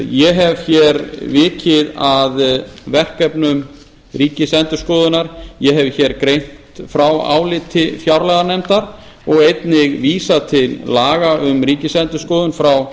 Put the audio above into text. ég hef hér vikið að verkefnum ríkisendurskoðunar ég hef hér greint frá áliti fjárlaganefndar og einnig vísað til laga um ríkisendurskoðun frá